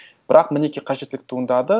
бірақ мінеки қажеттілік туындады